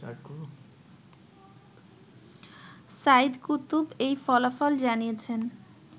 Saeed Qutb এই ফলাফল জানিয়েছেন